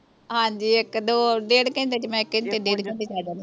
ਹਾਂਜੀ ਇੱਕ ਦੋ ਡੇਢ ਘੰਟੇ ਚ ਮੈਂ ਇੱਕ ਘੰਟੇ ਡੇਢ ਘੰਟੇ ਚ ਆ ਜਾਨੀ